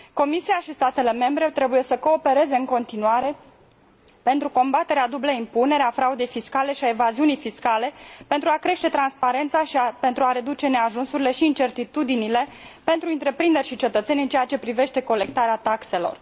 Comisia și statele membre trebuie să coopereze în continuare pentru combaterea dublei impuneri, a fraudei fiscale și a evaziunii fiscale, pentru a crește transparența și pentru a reduce neajunsurile și incertitudinile pentru întreprinderi și cetățeni în ceea ce privește colectarea taxelor.